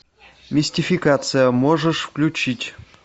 мистификация можешь включить